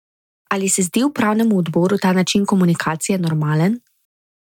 Ali pa se zdi upravnemu odboru ta način komunikacije normalen?